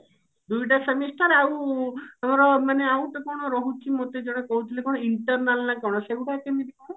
ଦୁଇଟା semester ଆଉ ଆମର ମାନେ ଆଉ ଗୋଟେ କଣ ରହୁଛି ମୋତେ ଜଣେ କହୁଥିଲେ କଣ internal ନା କଣ ସେଇଗୁଡା କେମିତି କଣ?